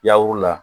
Yaw la